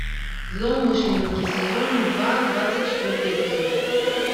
злоумышленники сезон два двадцать четвертый эпизод